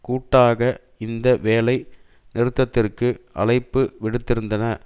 கூட்டாக இந்த வேலை நிறுத்தத்திற்கு அழைப்பு விடுத்திருந்தன